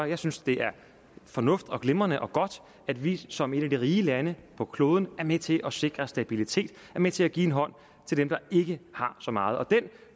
jeg synes det er fornuftigt glimrende og godt at vi som et af de rige lande på kloden er med til at sikre stabilitet er med til at give en hånd til dem der ikke har så meget